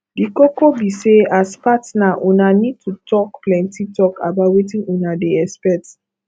di koko be sey as partner una need to talk plenty talk about wetin una dey expect